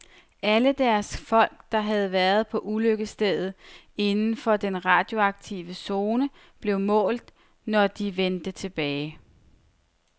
Alle deres folk, der havde været på ulykkesstedet inden for den radioaktive zone, blev målt, når de vendte tilbage.